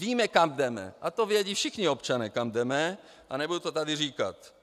Víme, kam jdeme a to vědí všichni občané, kam jdeme, a nebudu to tady říkat.